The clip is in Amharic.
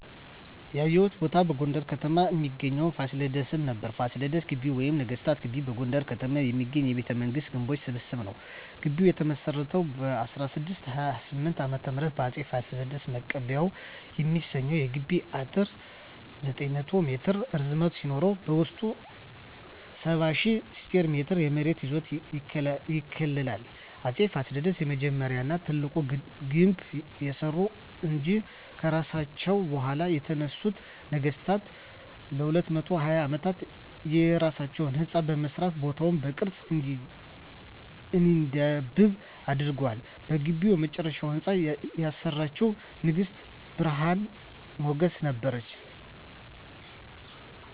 ያየሁት ቦታ በጎንደር ከተማ እሚገኘዉን ፋሲለደስን ነበር። ፋሲለደስ ግቢ ወይም ነገስታት ግቢ በጎንደር ከተማ የሚገኝ የቤተመንግስታት ግምቦች ስብስብ ነዉ። ግቢዉ የተመሰረተዉ በ1628 ዓ.ም በአፄ ፋሲለደስ ነበር። ማቀባበያ የሚሰኘዉ የግቢዉ አጥር 900 ሜትር ርዝመት ሲኖረዉ በዉስጡ 70,000 ስኩየር ሜትር የመሬት ይዞታ ይከልላል። አፄ ፋሲለደስ የመጀመሪያዉን ና ታላቁን ግድብ ያሰሩ እንጂ፣ ከርሳቸዉ በኋላ የተነሱት ነገስታትም ለ220 አመታት የየራሳቸዉን ህንፃ በመስራት ቦታዉ በቅርስ እንዲዳብር አድርገዋል። በግቢዉ የመጨረሻዉን ህንፃ ያሰራችዉ ንግስት ብርሀን ሞገስ ነበረች።